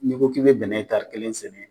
N'i ko k'i be bɛnɛ tari kelen sɛnɛ